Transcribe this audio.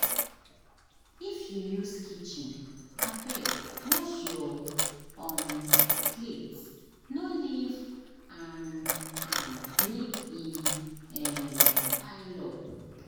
If you use kitchen, abeg wash your um plate, no leave um am make e um pile up.